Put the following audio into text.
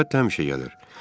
Əlbəttə, həmişə gəlir.